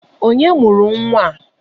Onye mụrụ nwa a?